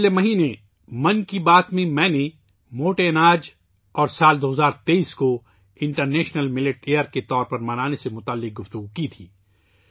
پچھلے مہینے 'من کی بات ' میں، میں نے موٹے اناج اور سال 2023 ء کو انٹر نیشنل ملٹ ایئر کے طور پر منانے پر بات کی تھی